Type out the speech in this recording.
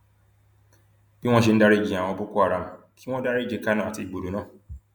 bí wọn ṣe ń dariji àwọn boko haram kí wọn dariji kanu àti igbodò náà